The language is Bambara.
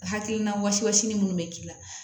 Hakilina wɔsi ni minnu bɛ k'i la